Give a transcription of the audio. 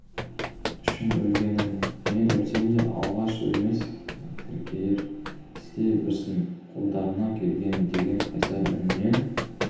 үшін өлгенім мен өлсем де алаш өлмес көркейер істей берсін қолдарынан келгенін деген қайсар үнінен